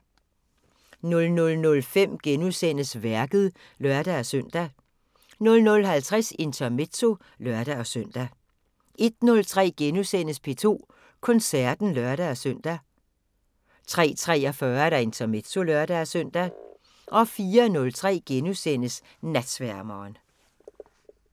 00:05: Værket *(lør-søn) 00:50: Intermezzo (lør-søn) 01:03: P2 Koncerten *(lør-søn) 03:43: Intermezzo (lør-søn) 04:03: Natsværmeren *